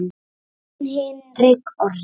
Þinn Hinrik Orri.